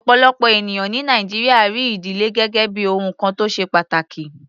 Ọ̀pọ̀lọpọ̀ ènìyàn ní Nàìjíríà rí ìdílé gẹ́gẹ́ bí ohun kan tó ṣe pàtàkì.